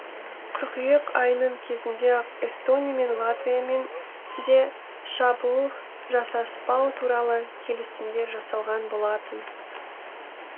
қыркүйек айының кезінде ақ эстония мен латвиямен де шабуыл жасаспау туралы келісімдер жасалған болатын